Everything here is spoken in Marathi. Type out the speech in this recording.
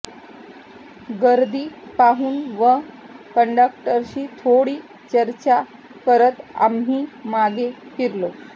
गर्दी पाहुन व कंडक्टरशी थोडी चर्चा करत आम्ही मागे फिरलो